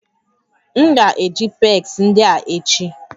M ga-eji pegs ndị a echi